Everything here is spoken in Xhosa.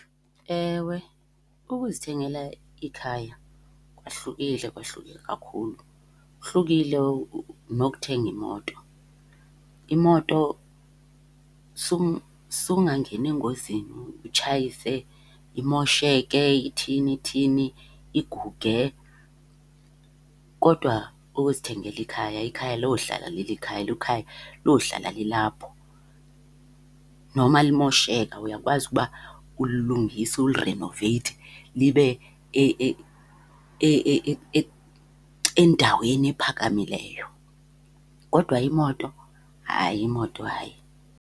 Ewe, ukuzithengela ikhaya kwahlukile, kwahluke kakhulu, kuhlukile nokuthenga imoto. Imoto sukungangena engozini utshayise imosheke, ithini ithini, iguge. Kodwa ukuzithengela ikhaya, ikhaya lohlala lilikhaya, elo khaya lohlala lilapho. Noma limosheka uyakwazi ukuba ulilungise ulirenoveyithe libe endaweni ephakamileyo. Kodwa imoto hayi, imoto hayi.